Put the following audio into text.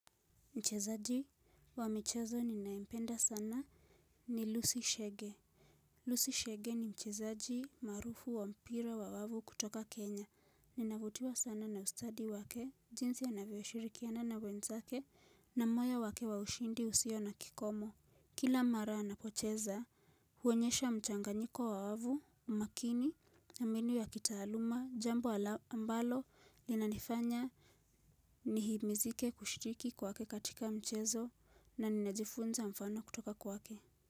Mchezaji wa michezo ninaimpenda sana ni Lucy Shege. Lucy Shege ni mchezaji marufu wa mpira wa wavu kutoka Kenya. Ninavutiwa sana na ustadi wake, jinsi anavyoshirikiana na wenzake, na moyo wake wa ushindi usio na kikomo. Kila mara anapocheza, huonyesha mchanganyiko wa wavu, umakini, na minu ya kitaaluma, jambo alaambalo, linanifanya. Nihimizike kushitiki kwake katika mchezo na ninajifunza mfano kutoka kwake.